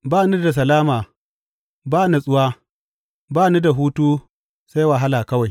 Ba ni da salama, ba natsuwa; ba ni da hutu, sai wahala kawai.